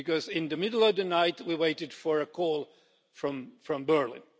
In the middle of the night, we waited for a call from Berlin.